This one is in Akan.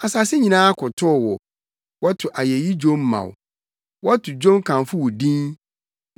Asase nyinaa kotow wo; wɔto ayeyi dwom ma wo, wɔto dwom kamfo wo din.”